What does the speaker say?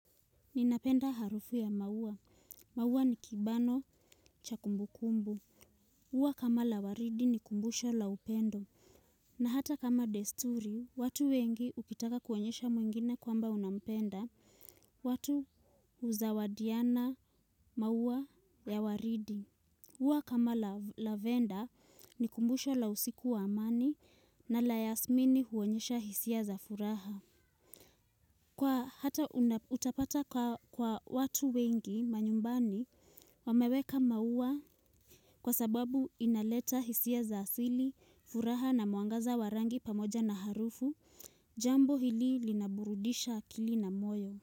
Ninapenda harufu ya maua, maua ni kibano cha kumbukumbu ua kama la waridi ni kumbusho la upendo. Na hata kama desturi, watu wengi ukitaka kuonyesha mwingine kwamba unampenda. Watu huzawadiana, maua ya waridi. Ua kama la lavenda ni kumbusho la usiku wa amani na la yasmini huonyesha hisia za furaha. Kwa hata utapata kwa watu wengi manyumbani wameweka maua kwa sababu inaleta hisia za asili, furaha na mwangaza wa rangi pamoja na harufu, jambo hili linaburudisha akili na moyo.